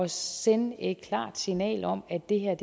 sende et klart signal om at det her